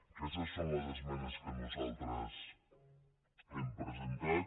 aquestes són les esmenes que nosaltres hem presentat